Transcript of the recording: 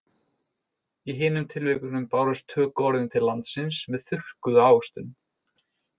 Í hinum tilvikunum bárust tökuorðin til landsins með þurrkuðu ávöxtunum.